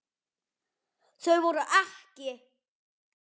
Þau voru EKKI.